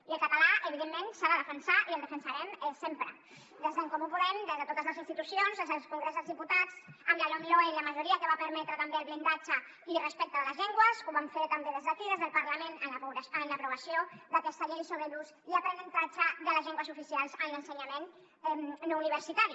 i el català evidentment s’ha de defensar i el defensarem sempre des d’en comú podem des de totes les institucions des del congrés dels diputats amb la lomloe i la majoria que va permetre també el blindatge i respecte de les llengües ho vam fer també des d’aquí des del parlament en la l’aprovació d’aquesta llei sobre l’ús i aprenentatge de les llengües oficials en l’ensenyament no universitari